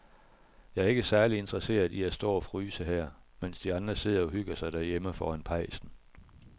Jeg er ikke særlig interesseret i at stå og fryse her, mens de andre sidder og hygger sig derhjemme foran pejsen.